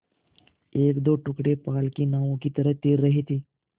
एकदो टुकड़े पाल की नावों की तरह तैर रहे थे